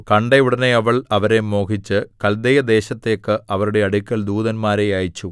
കണ്ട ഉടനെ അവൾ അവരെ മോഹിച്ച് കല്ദയദേശത്തേക്ക് അവരുടെ അടുക്കൽ ദൂതന്മാരെ അയച്ചു